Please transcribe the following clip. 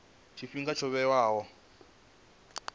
tshifhinga tsho vhewaho uri a